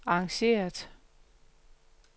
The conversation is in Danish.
arrangeret